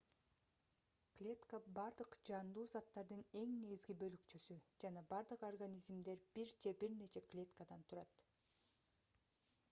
клетка бардык жандуу заттардын эң негизги бөлүкчөсү жана бардык организмдер бир же бир нече клеткадан турат